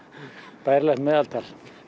bærilegt meðaltal